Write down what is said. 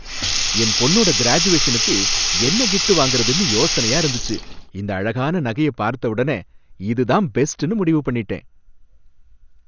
என் பொண்ணோட கிராஜுவேஷனுக்கு என்ன கிஃப்ட் வாங்குறதுனு யோசனையா இருந்துச்சு. இந்த அழகான நகைய பார்த்த உடனே இதுதான் பெஸ்ட்னு முடிவு பண்ணிட்டேன்.